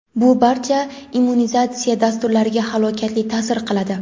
bu barcha immunizatsiya dasturlariga halokatli ta’sir qiladi.